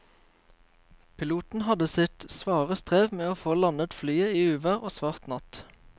Piloten hadde sitt svare strev med å få landet flyet i uvær og svart natt.